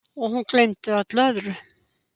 Og hún gleymdi öllu öðru.